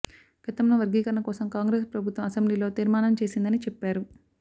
గతంలో వర్గీకరణ కోసం కాంగ్రెస్ ప్రభుత్వం అసెంబ్లీలో తీర్మానం చేసిందని చెప్పారు